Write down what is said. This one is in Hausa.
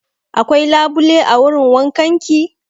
Akwai labule a wurin wankan ki?